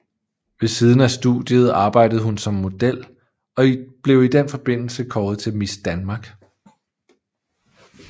Ved siden af studiet arbejdede hun som model og blev i den forbindelse kåret til Miss Danmark